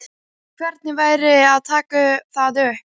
Hvernig væri að taka það upp?